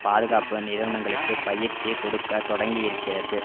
பாதுகாப்பு நிறுவனங்களுக்கு பயிற்சி கொடுக்க தொடங்கியிருக்கிறது